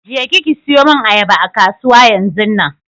Je ki ki siyo mun ayaba a kasuwa yanzunnan!